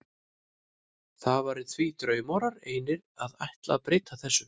Það væri því draumórar einir að ætla að breyta þessu.